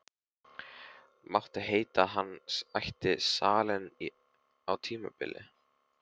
Mátti heita að hann ætti salinn á tímabili.